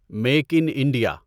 make in India